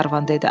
Qlervan dedi.